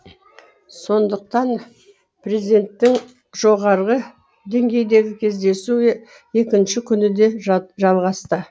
сондықтан президенттің жоғары деңгейдегі кездесуі екінші күні де жалғасты